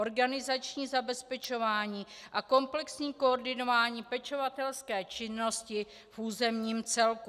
Organizační zabezpečování a komplexní koordinování pečovatelské činnosti v územním celku.